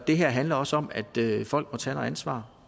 det her handler også om at folk må tage noget ansvar